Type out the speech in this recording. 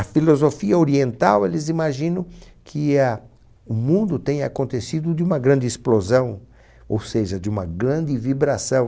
A filosofia oriental, eles imaginam que a o mundo tenha acontecido de uma grande explosão, ou seja, de uma grande vibração.